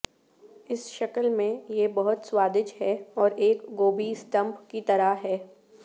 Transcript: اس شکل میں یہ بہت سوادج ہے اور ایک گوبھی سٹمپ کی طرح ہے